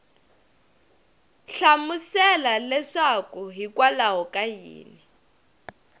hlamusela leswaku hikwalaho ka yini